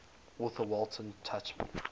author walter tuchman